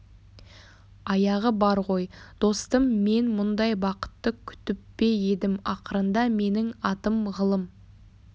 аяғы бар ғой достым мен мұндай бақытты күтіп пе едім ақырында менің атым ғылым